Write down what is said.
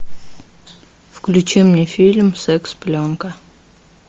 включи мне фильм секс пленка